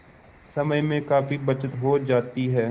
समय में काफी बचत हो जाती है